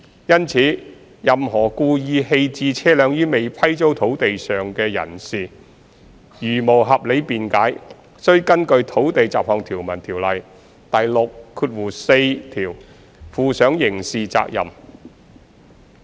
因此，任何故意棄置車輛於未批租土地上的人士如無合理辯解，須根據《土地條例》第64條負上刑事責任。